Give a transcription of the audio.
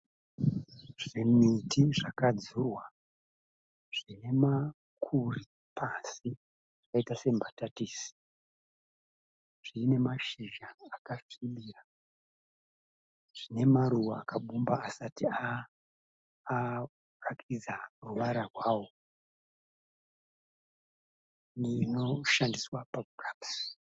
Zvimuti zvakadzurwa zvine makuri pasi zvakaita sembatatisi. Zvine mashizha akasvibira. Zvine maruva akabumba asati aratidza ruvara rwawo.